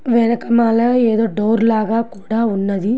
వెనక మాలా ఏదో డోర్ లాగా ఉన్నది.